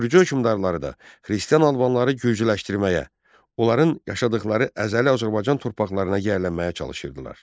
Gürcü hökmdarları da xristian Albanları gürcüləşdirməyə, onların yaşadıqları əzəli Azərbaycan torpaqlarına yiyələnməyə çalışırdılar.